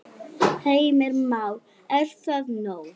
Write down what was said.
Heimir Már: Er það nóg?